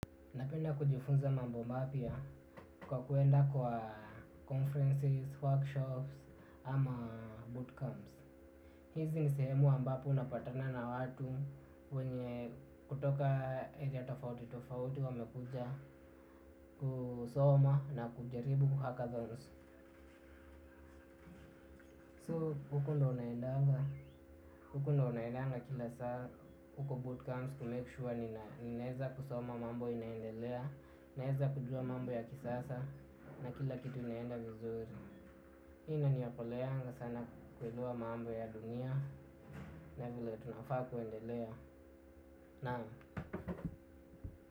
Napenda kujifunza mambo mapya kwa kwenda kwenye conferences, workshops ama bootcamps. Hizi ni sehemu ambapo unapatana na watu kutoka maeneo tofauti tofauti, wamekuja kusoma na kujaribu kutulia. Huko ndio naendanga kila saa, huko bootcamps ku-make-sure ninaeza kusoma mambo inaendelea. Naeza kujua mambo ya kisasa na kila kitu inaenda vizuri hii inaniokoleanga sana kuelewa mambo ya dunia na vile tunafaa kuendelea. Na.